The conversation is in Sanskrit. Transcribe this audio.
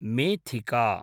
मेथिका